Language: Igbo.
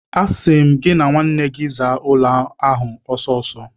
Asị m gị na nwanne gị zaa ụlọ ahụ ọsọ ọsọ!